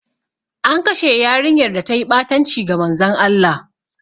An kashe yarinyar da ta yi ɓatanci ga Manzon Allah.